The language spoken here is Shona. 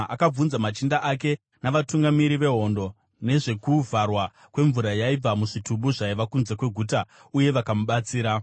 akabvunza machinda ake navatungamiri vehondo nezvekuvharwa kwemvura yaibva muzvitubu zvaiva kunze kweguta uye vakamubatsira.